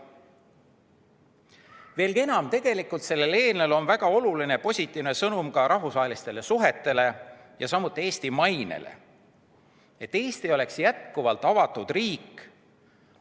Veelgi enam, sellel eelnõul on väga oluline positiivne sõnum ka rahvusvahelistele suhetele ja Eesti mainele, et Eesti oleks jätkuvalt avatud riik.